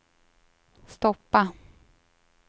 stoppa